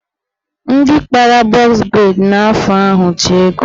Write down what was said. Ndị kpara bọz breid n'afọ ahụ ji ego.